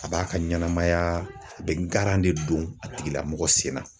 A b'a ka ɲɛnamaya a bɛ garan de don a tigilamɔgɔ sen na.